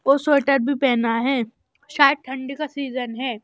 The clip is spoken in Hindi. को स्वेटर भी पहना है शायद ठंडी का सीजन है।